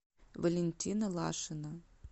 валентина лашина